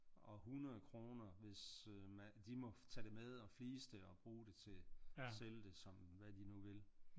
Og 100 kroner hvis de må tage det med og flise det og bruge det til sælge det som hvad de nu vil